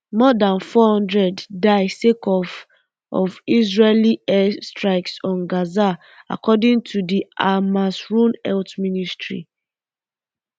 more dan four hundred um die sake of of israeli air um strikes on gaza according to di hamasrun health ministry